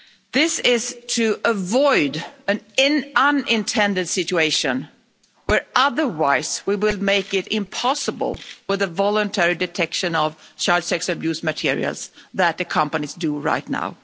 This is to avoid an unintended situation where otherwise we would make it impossible for the voluntary detection of child sex abuse materials that the companies do right now.